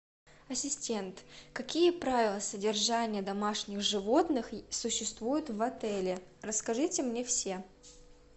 ассистент какие правила содержания домашних животных существуют в отеле расскажите мне все